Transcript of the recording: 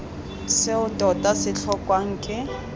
seo tota se tlhokwang ke